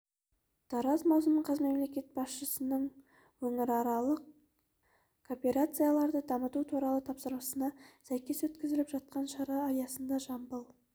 тараз маусым қаз мемлекет басшысының өңіраралық кооперацияларды дамыту туралы тапсырмасына сәйкес өткізіліп жатқан шара аясында жамбыл